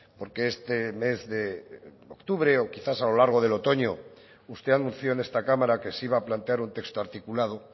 porque este mes de octubre o quizá a lo largo de otoño usted anunció en esta cámara que se iba a plantear un texto articulado